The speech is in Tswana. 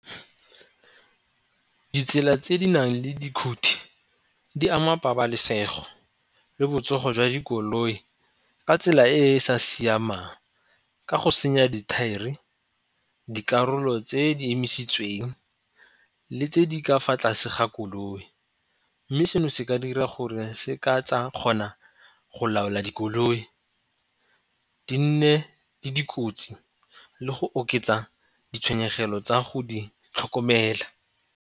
Ditsela tse di nang le dikhuthi di ama pabalesego le botsogo jwa dikoloi ka tsela e e sa siamang ka go senya dithaere, dikarolo tse di emisitsweng, le tse di ka fa tlase ga koloi. Mme seno se ka dira gore se ka tsa kgona go laola dikoloi di nne le dikotsi le go oketsa ditshenyegelo tsa go di tlhokomela.